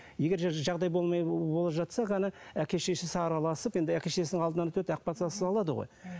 егер жағдай болмай болып жатса ғана әке шешесі араласып енді әке шешесінің алдынан өтеді ақ батасын алады ғой